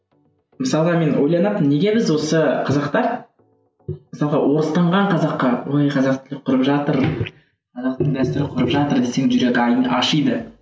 мысалы мен ойланатынмын неге біз осы қазақтар мысалға орыстанған қазаққа ой қазақ тілін құрып жатыр қазақтың дәстүрін құрып жатыр десең жүрегі ашиды